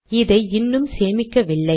இதை இன்னும் சேமிக்கவில்லை